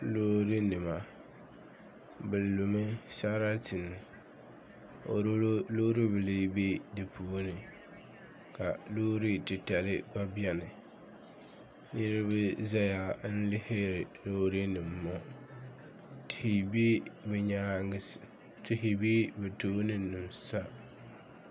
Loorinima bɛ lumi sarati o lu loor' bila be di puuni ka loor' titali gba beni niriba zaya n-lihiri loorinima ŋɔ tihi be bɛ nyaaŋa sa tihi be bɛ tooni nima sa